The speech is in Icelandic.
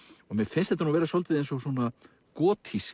og mér finnst þetta vera svolítið eins og